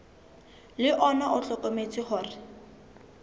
le ona o hlokometse hore